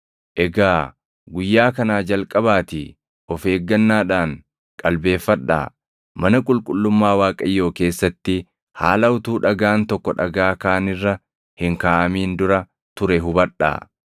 “ ‘Egaa guyyaa kanaa jalqabaatii of eeggannaadhaan qalbeeffadhaa; mana qulqullummaa Waaqayyoo keessatti haala utuu dhagaan tokko dhagaa kaan irra hin kaaʼamin dura ture hubadhaa.